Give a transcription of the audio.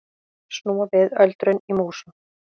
Snúa við öldrun í músum